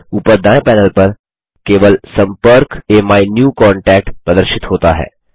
ऊपर दायें पैनल पर केवल सम्पर्क अमीन्यूकांटैक्ट प्रदर्शित होता है